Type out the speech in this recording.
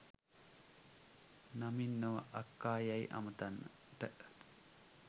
නමින් නොව අක්කා යැයි අමතන්නට